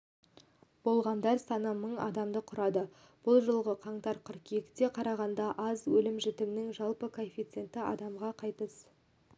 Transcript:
болғандар саны мың адамды құрады бұл жылғы қаңтар-қыркүйекке қарағанда аз өлім-жітімнің жалпы коэффициенті адамға қайтыс